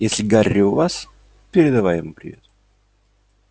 если гарри у вас передай ему привет